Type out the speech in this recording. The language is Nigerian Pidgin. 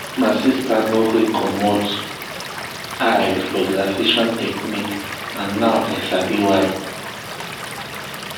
my sister no gree commot eye for relaxation technique and now i sabi why.